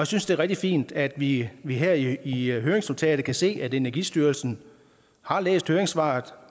synes det er rigtig fint at vi vi her i høringsnotatet kan se at energistyrelsen har læst høringssvaret